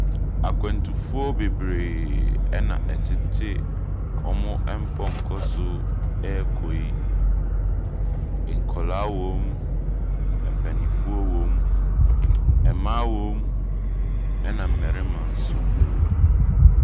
Akwantufo bebree ɛna ɛtete wɔn mpɔkɔ so rekɔ yi. Nkwaraa wom, mpanimfo wom, mmaa wom ɛna mmarima nso wom.